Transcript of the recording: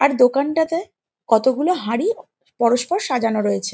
আর দোকানটাতে কতগুলো হাঁড়ি পরস্পর সাজানো রয়েছে।